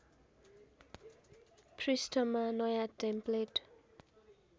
पृष्ठमा नयाँ टेम्प्लेट